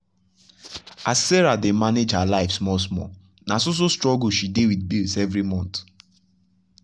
as sarah dey manage her life small small na so so struggle she dey with bills every month.